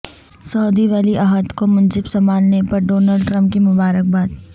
سعودی ولی عہد کو منصب سنبھالنے پر ڈونلڈ ٹرمپ کی مبارک باد